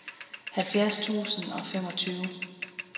halvfjerds tusind og femogtyve